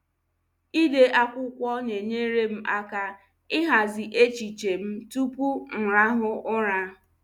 Ịde akwụkwọ na-enyere m aka ịhazi echiche m tupu m rahụ ụra.